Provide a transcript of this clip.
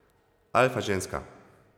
Alfa ženska!